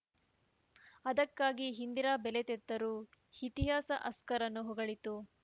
ಅದಕ್ಕಾಗಿ ಇಂದಿರಾ ಬೆಲೆ ತೆತ್ತರು ಇತಿಹಾಸ ಹಸ್ಕರ್‌ರನ್ನು ಹೊಗಳಿತು